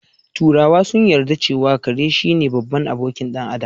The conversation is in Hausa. Turawa sun yarda cewa kare shine babban abokin ɗan Adam